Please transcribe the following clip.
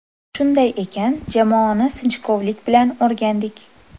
Shunday ekan jamoani sinchkovlik bilan o‘rgandik.